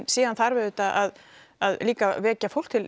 síðan þarf auðvitað að líka vekja fólk til